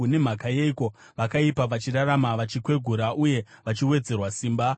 Nemhaka yeiko vakaipa vachirarama, vachikwegura uye vachiwedzerwa simba?